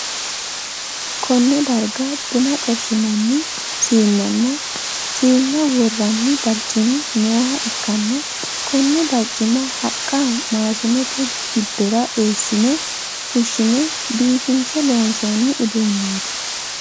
Konne darga bunna xorshinnanni siinenna siinna woranni barcimi nooha ikanna konne barcima haqa maashinete gidora eesinne fushine biifinse loonsoonni uduuneeti.